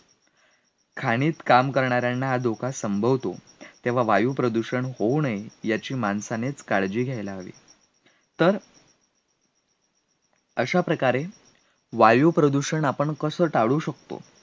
खाणीत काम करणार्यांना हा धोका संभवतो तेव्हा वायुप्रदूषण होऊ नये याची माणसानेच काळजी घ्यायला हवी, तर अशा प्रकारे वायुप्रदूषण आपण कसं टाळू शकतो?